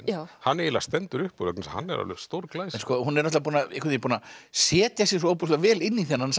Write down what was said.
hann eiginlega stendur upp úr vegna þess að hann er alveg stórglæsilegur hún er búin að búin að setja sig svo ofboðslega vel inn í þennan